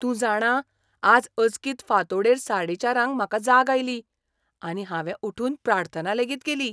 तूं जाणा, आज अचकीत फांतोड़ेर साडेचारांक म्हाका जाग आयली, आनी हावें उठून प्रार्थना लेगीत केली.